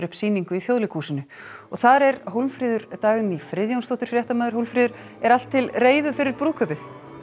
sýningu í Þjóðleikhúsinu þar er Hólmfríður Dagný Friðjónsdóttir fréttamaður Hólmfríður er allt til reiðu fyrir brúðkaupið